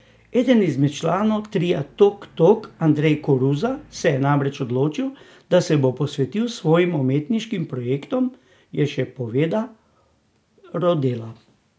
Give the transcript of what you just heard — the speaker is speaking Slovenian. Eden izmed članov tria Tok Tok, Andrej Koruza, se je namreč odločil, da se bo posvetil svojim umetniškim projektom, je še povedal Rodela.